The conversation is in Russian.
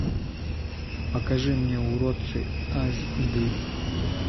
покажи мне уродцы аш ди